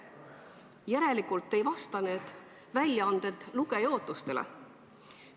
Järelikult ei vasta need väljaanded lugeja ootustele.